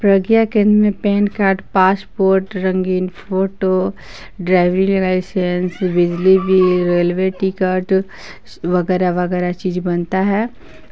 प्रज्ञा केंद्र में PAN card passport रंगीन फोटो ड्राइवरी लाइसेंस बिजली बिल रेलवे टिकट वगैर वगैर चीज बनता है।